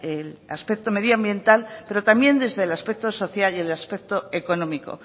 el aspecto medioambiental pero también desde el aspecto social y el aspecto económico